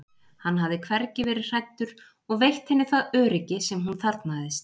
hann hafði hvergi verið hræddur og veitt henni það öryggi sem hún þarfnaðist.